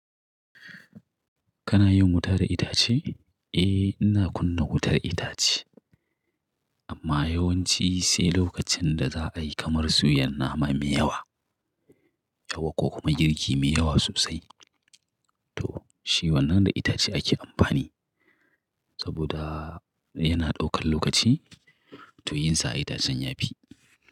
Kana yin wuta da itace? Eh, ina kunna wutar itace. Amma yawanci sai lokacin da za a yi kamar suyan nama mai yawa, yauwa ko kuma girki mai yawa sosai. To, shi wannan da itace ake amfani saboda yana ɗaukan lokaci to yinsa a itacen yafi.